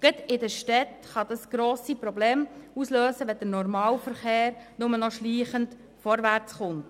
Gerade in den Städten kann das grosse Probleme auslösen, wenn der Normalverkehr nur noch schleichend vorwärtskommt.